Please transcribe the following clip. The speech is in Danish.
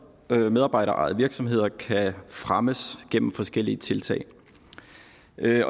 medarbejderejede virksomheder kan fremmes gennem forskellige tiltag